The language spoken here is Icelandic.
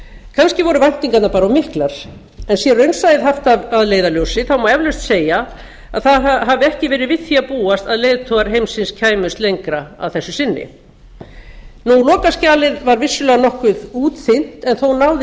kannski voru væntingarnar bara of miklar en sé raunsæið haft að leiðarljósi má eflaust segja að það hafi ekki verið við því að búast að leiðtogar heimsins kæmust lengra að þessu sinni lokaskjalið var vissulega nokkuð útþynnt en þó náðist